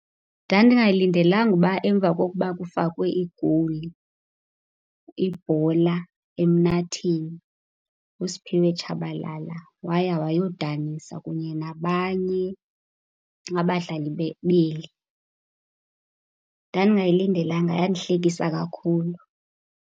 Ndandingayilindelanga ukuba emva kokuba kufakwe igowuli, ibhola emnatheni, uSiphiwe Tshabalala waya wayodanisa kunye nabanye abadlali beli. Ndandingayilindelanga. Yandihlekisa kakhulu.